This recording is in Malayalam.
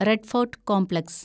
red Fort complex